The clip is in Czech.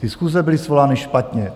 Ty schůze byly svolány špatně.